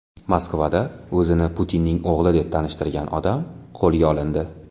Moskvada o‘zini Putinning o‘g‘li deb tanishtirgan odam qo‘lga olindi.